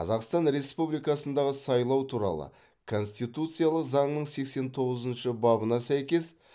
қазақстан республикасындағы сайлау туралы конституциялық заңның сексен тоғызыншы бабына сәйкес